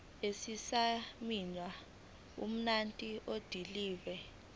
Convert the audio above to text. esisayinwe ngumuntu odilive